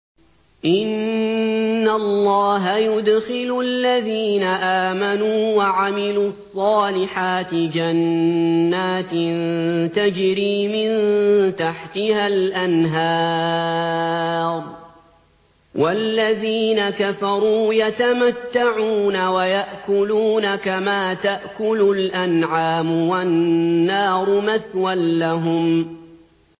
إِنَّ اللَّهَ يُدْخِلُ الَّذِينَ آمَنُوا وَعَمِلُوا الصَّالِحَاتِ جَنَّاتٍ تَجْرِي مِن تَحْتِهَا الْأَنْهَارُ ۖ وَالَّذِينَ كَفَرُوا يَتَمَتَّعُونَ وَيَأْكُلُونَ كَمَا تَأْكُلُ الْأَنْعَامُ وَالنَّارُ مَثْوًى لَّهُمْ